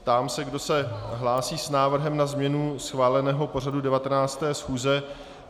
Ptám se, kdo se hlásí s návrhem na změnu schváleného pořadu 19. schůze.